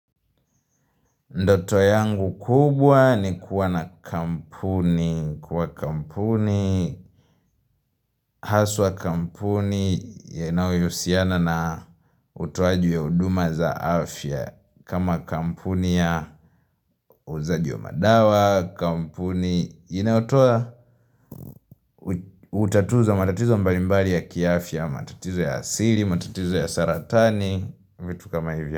Ndoto yangu kubwa ni kuwa na kampuni, kuwa kampuni, haswa kampuni ya inayohusiana na utoaji ya huduma za afya. Kama kampuni ya uzaji wa madawa, kampuni, inayotoa utatuzi wa matatizo mbalimbali ya kiafya, matatizo ya asili, matatizo ya saratani, vitu kama hivyo.